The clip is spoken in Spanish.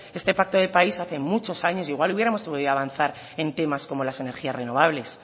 este pacto de país hace muchos años igual hubiéremos podido avanzar en temas como las energías renovables